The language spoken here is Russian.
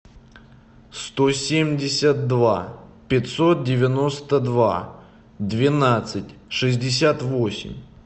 сто семьдесят два пятьсот девяносто два двенадцать шестьдесят восемь